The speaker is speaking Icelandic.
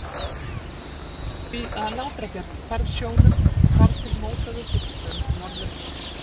því að Látrabjarg hvarf sjónum og þar til mótaði fyrir strönd Norður-